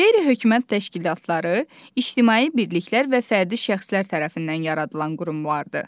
Qeyri-hökumət təşkilatları ictimai birliklər və fərdi şəxslər tərəfindən yaradılan qurumlardır.